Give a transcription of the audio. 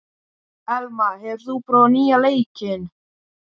Elma, hefur þú prófað nýja leikinn?